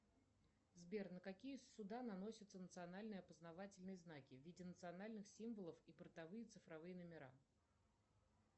сбер на какие суда наносятся национальные опознавательные знаки в виде национальных символов и портовые цифровые номера